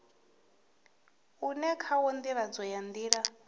une khawo ndivho ya nila